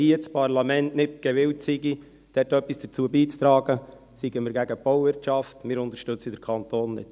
wenn hier das Parlament nicht gewillt sei, etwas dazu beizutragen, seien wir gegen die Bauwirtschaft, wir unterstützten den Kanton nicht.